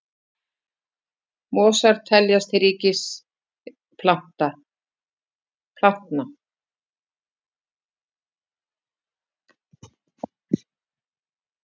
Mosar teljast til ríkis plantna.